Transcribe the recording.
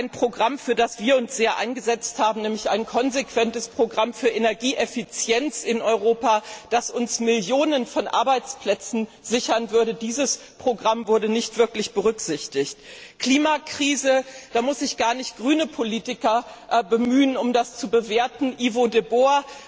Ein Programm, für das wir uns sehr eingesetzt haben, nämlich ein konsequentes Programm für Energieeffizienz in Europa, das uns Millionen von Arbeitsplätzen sichern würde, dieses Programm wurde nicht wirklich berücksichtigt. Zur Klimakrise Da muss ich gar nicht grüne Politiker bemühen, um die Politik in diesem Bereich zu bewerten. Ivo de